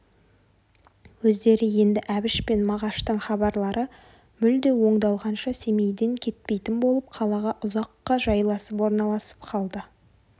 өздері енді әбіш пен мағаштың хабарлары мүлде оңдалғанша семейден кетпейтін болып қалаға ұзаққа жайласып орналасып қалды